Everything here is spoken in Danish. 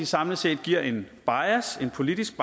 samlet set giver en politisk